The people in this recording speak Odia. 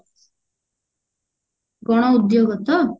ଗଣ ଉଦ୍ଯୋଗ ତ